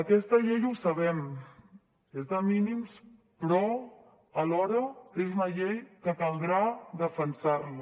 aquesta llei ho sabem és de mínims però alhora és una llei que caldrà defensar la